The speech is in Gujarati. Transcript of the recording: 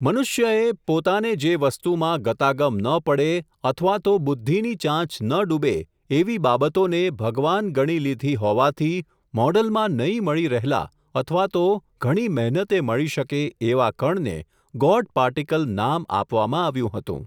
મનુષ્યએ, પોતાને જે વસ્તુમાં, ગતાગમ ન પડે, અથવા તો બુદ્ધિની ચાંચ ન ડૂબે, એવી બાબતોને, ભગવાન ગણી લીધી હોવાથી, મોડલમાં નહીં મળી રહેલા અથવા તો, ઘણી મહેનતે મળી શકે, એવા કણને, ગોડ પાર્ટિકલ નામ, આપવામાં આવ્યું હતું.